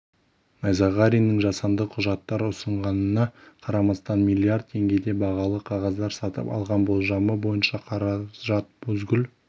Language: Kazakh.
найзағариннің жасанды құжаттар ұсынғанына қарамастан миллиард теңгеге бағалы қағаздар сатып алған болжамы бойынша қаражат бузгул